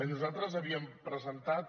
nosaltres havíem presentat